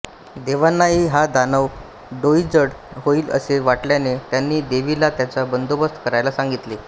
देवांनाही हा दानव डोईजड होईल असे वाटल्याने त्यांनी देवीला त्याचा बंदोबस्त कारायला सांगितले